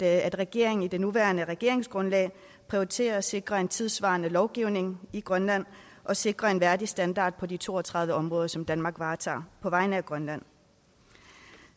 at regeringen i det nuværende regeringsgrundlag prioriterer at sikre en tidssvarende lovgivning i grønland og sikre en værdig standard på de to og tredive områder som danmark varetager på vegne af grønland